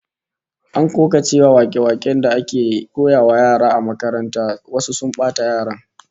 An koka cewa wake-waken da ake koyawa yara a makaranta wasu sun bata yaran